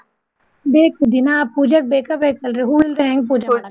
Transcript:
ಬೇಕು ದಿನಾ ಪೂಜೆಗ್ ಬೇಕ ಬೇಕಲ್ರಿ ಹೂವ್ ಇಲ್ದ ಹೆಂಗ್ ಪೂಜೆ.